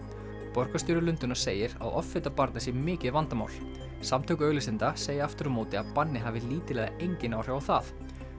borgarstjóri Lundúna segir að offita barna sé mikið vandamál samtök auglýsenda segja aftur á móti að bannið hafi lítil eða engin áhrif á það